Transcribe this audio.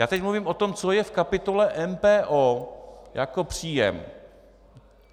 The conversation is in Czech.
Já teď mluvím o tom, co je v kapitole MPO jako příjem.